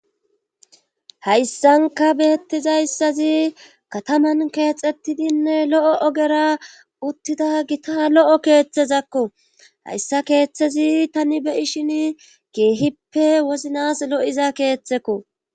hayssanka beyettizayssazi kataman keexettidinne lo7o ogera uttida gita lo7o keeththezakko hayssa keeththezi tani be'ishin keehippe woznas lo7iza keeththekko